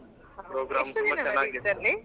ಎಷ್ಟು ದಿನ ನಡೆಯುತ್ತೆ ಅಲ್ಲಿ.